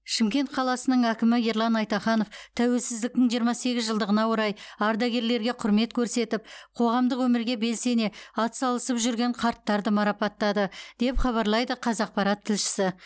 шымкент қаласының әкімі ерлан айтаханов тәуелсіздіктің жиырма сегіз жылдығына орай ардагерлерге құрмет көрсетіп қоғамдық өмірге белсене атсалысып жүрген қарттарды марапаттады деп хабарлайды қазақпарат тілшісі